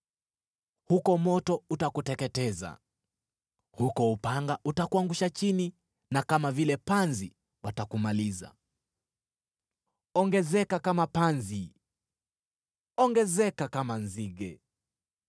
Huko moto utakuteketeza, huko upanga utakuangusha chini na kama vile panzi, watakumaliza. Ongezeka kama panzi, ongezeka kama nzige!